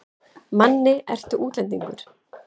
Manni, ertu útlendingur?